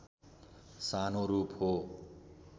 सानो रूप हो